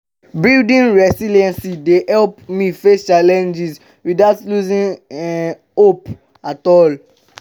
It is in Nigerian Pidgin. building resilience dey help me face challenges without losing um hope at all.